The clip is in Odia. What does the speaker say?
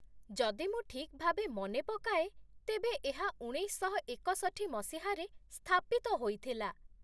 ଯଦି ମୁଁ ଠିକ୍ ଭାବେ ମନେ ପକାଏ, ତେବେ ଏହା ଉଣେଇଶହ ଏକଷଠି ମସିହାରେ ସ୍ଥାପିତ ହୋଇଥିଲା।